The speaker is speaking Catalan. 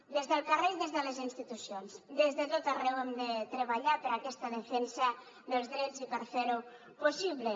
des del carrer i des de les institucions des de tot arreu hem de treballar per aquesta defensa dels drets i per fer ho possible